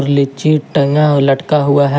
लीची टंगा लटका हुआ है।